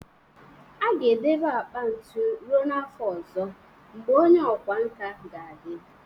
A ga-edobe akpa ntu ruo n'afọ ọzọ, mgbe onye ọkwá nkà ga-adị